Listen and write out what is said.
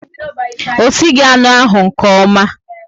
O sighi anụ ahu nke ọma